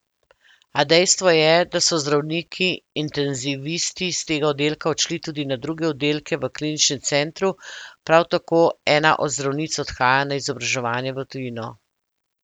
A dejstvo je, da so zdravniki intenzivisti s tega oddelka odšli tudi na druge oddelke v kliničnem centru, prav tako ena od zdravnic odhaja na izobraževanje v tujino.